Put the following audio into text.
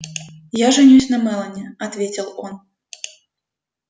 я женюсь на мелани ответил он